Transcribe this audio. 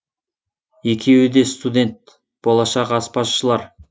екеуі де студент болашақ аспазшылар